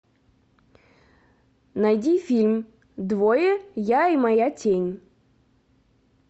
найди фильм двое я и моя тень